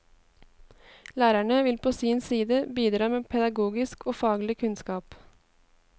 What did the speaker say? Lærerne vil på sin side bidra med pedagogisk og faglig kunnskap.